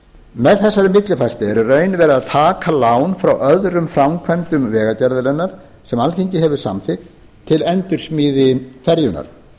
með þessari millifærslu er í raun verið að taka lán frá öðrum framkvæmdum vegagerðarinnar sem alþingi hefur samþykkt til endursmíði ferjunnar